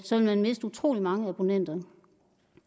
så vil miste utrolig mange abonnenter